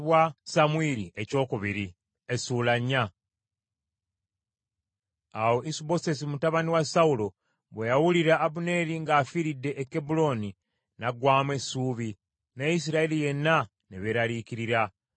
Awo Isubosesi mutabani wa Sawulo bwe yawulira Abuneeri ng’afiiridde e Kebbulooni, n’aggwaamu essuubi, ne Isirayiri yenna ne beeraliikirira.